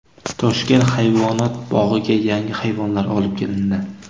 Toshkent hayvonot bog‘iga yangi hayvonlar olib kelindi .